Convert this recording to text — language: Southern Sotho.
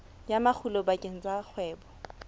ya makgulo bakeng sa kgwebo